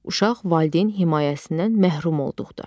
Uşaq valideyn himayəsindən məhrum olduqda.